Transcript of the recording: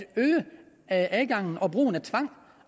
øge adgangen til brugen af tvang